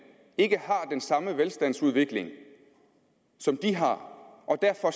ikke har den samme velstandsudvikling som de har og derfor